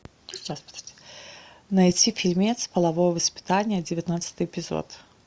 найти фильмец половое воспитание девятнадцатый эпизод